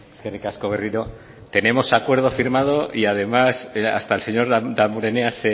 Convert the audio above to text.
eskerrik asko berriro tenemos acuerdo firmado y además hasta el señor damborenea